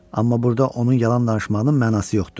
Amma burda onun yalan danışmağının mənası yoxdur.